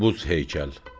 Buz heykəl.